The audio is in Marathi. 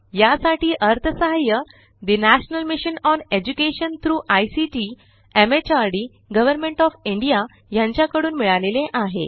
यासाठी अर्थसहाय्य national mission on education through ICT MHRD government O F India यांच्याकडून मिळालेले आहे